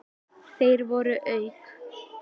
Þeir voru auk